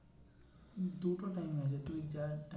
দু টো time আছে তুই যা